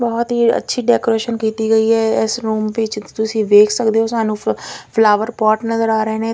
ਬਹੁਤ ਹੀ ਅੱਛੀ ਡੈਕੋਰੇਸ਼ਨ ਕੀਤੀ ਗਈ ਆ ਇਸ ਰੂਮ ਵਿੱਚ ਤੁਸੀਂ ਵੇਖ ਸਕਦੇ ਹੋ ਸਾਨੂੰ ਫਲਾਵਰ ਪੋਟ ਨਜ਼ਰ ਆ ਰਹੇ ਨੇ --